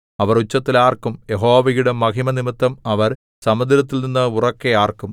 അവർ ഉച്ചത്തിൽ ആർക്കും യഹോവയുടെ മഹിമനിമിത്തം അവർ സമുദ്രത്തിൽനിന്ന് ഉറക്കെ ആർക്കും